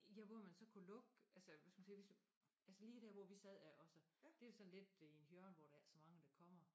Ja hvor man så kunne lukke altså hvis vi siger vi så altså lige dér hvor vi sad også det sådan i et hjørne hvor der ikke er så mange der kommer